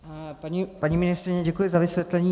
Paní ministryně, děkuji za vysvětlení.